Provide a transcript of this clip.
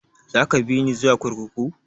Za ka bini zuwa kurkuku?